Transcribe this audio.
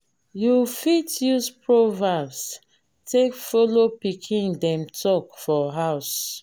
you fit use proverbs take follow pikin dem talk for house